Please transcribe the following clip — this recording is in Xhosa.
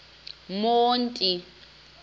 monti